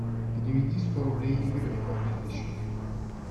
переведи сто рублей игорю на мобильный счет